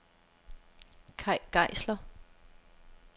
Kay Geisler